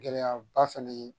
Gɛlɛyaba fɛnɛ ye